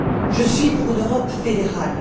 je suis pour une Europe fédérale.